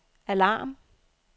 alarm